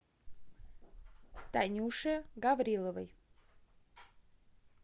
танюше гавриловой